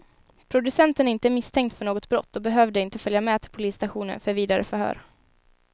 Producenten är inte misstänkt för något brott och behövde inte följa med till polisstationen för vidare förhör.